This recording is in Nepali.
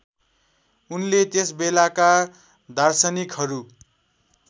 उनले त्यसबेलाका दार्शनिकहरू